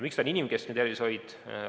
Miks see on inimkeskne tervishoid?